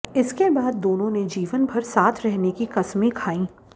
इसके बाद दोनों ने जीवन भर साथ रहने की कसमें खाईं